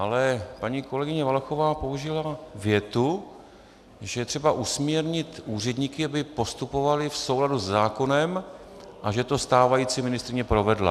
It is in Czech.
Ale paní kolegyně Valachová použila větu, že je třeba usměrnit úředníky, aby postupovali v souladu se zákonem, a že to stávající ministryně provedla.